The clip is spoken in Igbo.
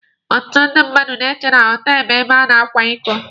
Ọtụtụ ndị mmadụ chee na họtelụ bụ ebe a na-akwa iko.